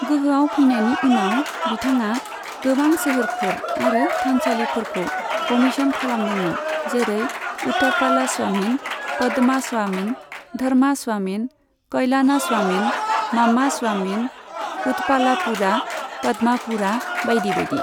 गोहोआव फैनायनि उनाव बिथाङा गोबां सोहोरफोर आरो थानसालिफोरखौ कमिसन खालामदोंमोन, जेरै उथापालास्वामिन, पदमास्वामिन, धर्मास्वामिन, कलयानास्वामिन, मामास्वामिन, उथपालापुरा, पद्मापुरा बायदि बायदि।